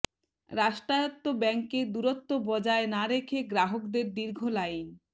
রাষ্ট্রায়ত্ত ব্যাংকে দূরত্ব বজায় না রেখে গ্রাহকদের দীর্ঘ লাইন